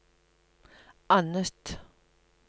annet